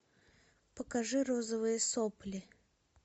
покажи розовые сопли